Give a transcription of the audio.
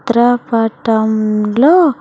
త్రకటంలో.